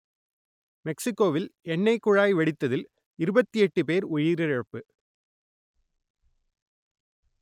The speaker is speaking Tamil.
மெக்சிக்கோவில் எண்ணெய்க் குழாய் வெடித்ததில் இருபத்தி எட்டு பேர் உயிரிழப்பு